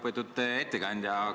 Väga lugupeetud ettekandja!